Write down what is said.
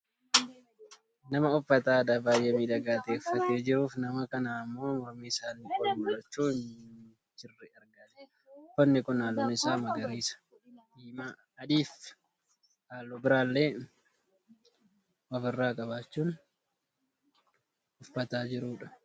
Nama uffata aadaa baayyee miidhagaa ta'e uffatee jiruufi nama kana ammoo mormi isaanii ol mul'achaa hin jirre argaa jirra. Uffanni kun halluun isaa magariisa, diimaa , adiifi halluu biraallee ofirraa qabaachuun uffata jirudha.